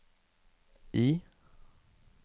I